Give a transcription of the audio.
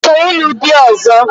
Ị chọrọ ịlụ di ọ̀zọ́?